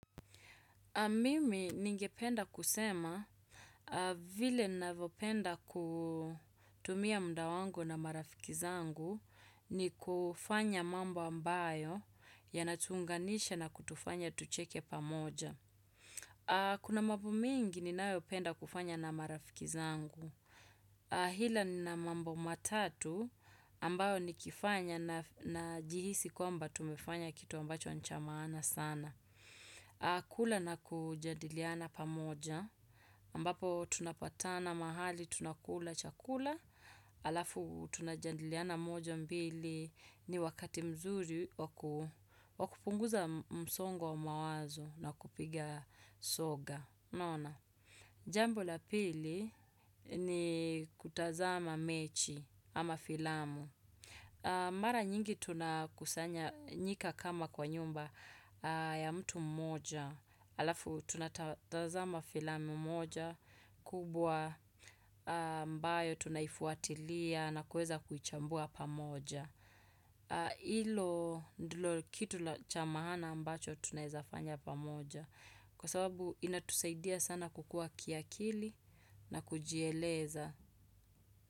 Mimi ningependa kusema, vile ninavyopenda kutumia mda wangu na marafiki zangu, ni kufanya mambo ambayo yanatuunganisha na kutufanya tucheke pamoja. Kuna mambo mengi ninayo penda kufanya na marafiki zangu. Ila nina mambo matatu ambayo nikifanya na jihisi kwamba tumefanya kitu ambacho nicha maana sana. Kula na kujandiliana pamoja ambapo tunapatana mahali tunakula chakula Alafu tunajandiliana moja mbili ni wakati mzuri wa kupunguza msongo wa mawazo na kupiga soga unaona Jambo la pili ni kutazama mechi ama filamu Mara nyingi tunakusanya nyika kama kwa nyumba ya mtu mmoja, alafu tunatazama filami mmoja, kubwa ambayo tunaifuatilia na kuweza kuichambua pamoja. Ilo ndilo kitu la cha maana ambacho tunawezafanya pamoja, kwa sababu inatusaidia sana kukua kiakili na kujieleza.